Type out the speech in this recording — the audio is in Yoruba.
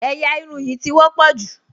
Ẹ̀yà irun yìí ti wọ́pọ̀ jù